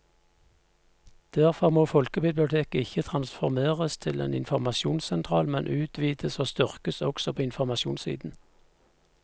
Derfor må folkebiblioteket ikke transformeres til en informasjonssentral, men utvides og styrkes også på informasjonssiden.